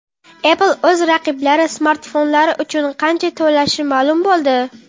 Apple o‘z raqiblari smartfonlari uchun qancha to‘lashi ma’lum bo‘ldi.